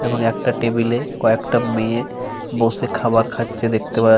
এবং একটা টেবিল -এ কয়েকটা মেয়ে বসে খাবার খাচ্ছে দেখতে পাওয়া যা --